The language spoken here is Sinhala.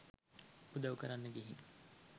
උදවු කරන්න ගිහින්